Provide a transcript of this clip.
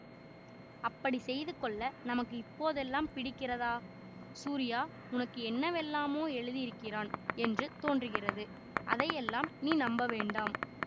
அப்படி செய்து கொள்ள நமக்கு இப்போதெல்லாம் பிடிக்கிறதா சூரியா உனக்கு என்னவெல்லாமோ எழுதியிருக்கிறான் என்று தோன்றுகிறது அதையெல்லாம் நீ நம்ப வேண்டாம்